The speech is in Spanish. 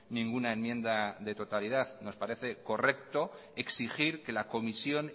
ninguna enmienda de totalidad nos parece correcto exigir que la comisión